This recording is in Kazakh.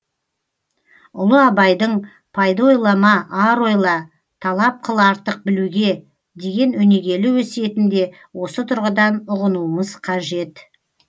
ұлы абайдың пайда ойлама ар ойла талап қыл артық білуге деген өнегелі өсиетін де осы тұрғыдан ұғынуымыз қажет